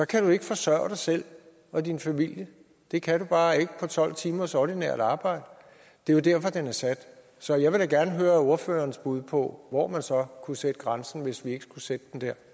kan du ikke forsørge dig selv og din familie det kan du bare ikke på tolv timers ordinært arbejde det er jo derfor at den er sat så jeg vil da gerne høre ordførerens bud på hvor man så kunne sætte grænsen hvis vi ikke skulle sætte